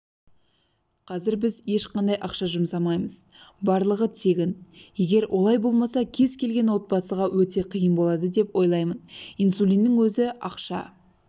қазір біз ешқандай ақша жұмсамаймыз барлығы тегін егер олай болмаса кез келген отбасыға өте қиын болады деп ойлаймын инсулиннің өзі ақша